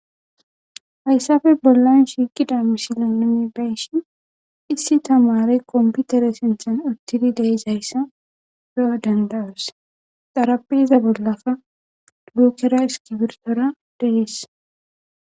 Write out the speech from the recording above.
Hayssappe bollan shiiqqidi misile nu beyishin issi tamaarey kompittere sinththan uuttidii de'izaysa beyo dandayos xaraphpheza bollakka boththa iskirbittora de'es.